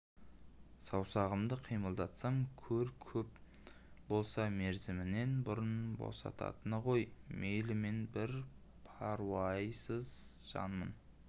саусағымды қимылдатсам көр көп болса мерзімінен бұрын босататыны ғой мейлі мен бір паруайсыз жанмын